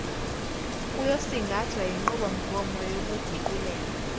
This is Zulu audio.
kuyosingathwa yinqubomgomo yokuguqulela